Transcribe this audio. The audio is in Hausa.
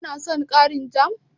Ka na son ƙarin jam?